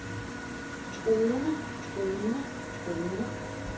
truende truende truende